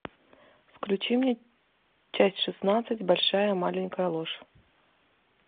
включи мне часть шестнадцать большая маленькая ложь